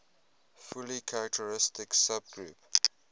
fully characteristic subgroup